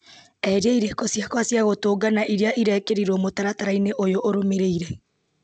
eheria irĩko ciakwa cia gũtũngana iria irekĩrirwo mũtaratara-inĩ ũyũ ũrũmĩrĩire